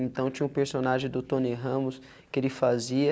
Então tinha um personagem do Tony Ramos que ele fazia